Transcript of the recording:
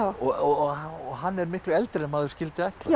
og hann er miklu eldri en maður skyldi ætla